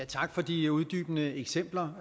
tak for de uddybende eksempler